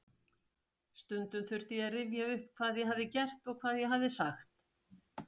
Stundum þurfti ég að rifja upp hvað ég hafði gert og hvað ég hafði sagt.